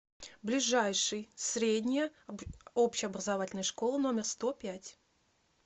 ближайший средняя общеобразовательная школа номер сто пять